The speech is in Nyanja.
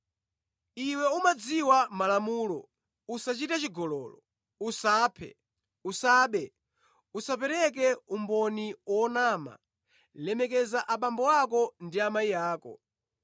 Iwe umadziwa malamulo: ‘Usachite chigololo, usaphe, usabe, usapereke umboni wonama, lemekeza abambo ndi amayi ako.’ ”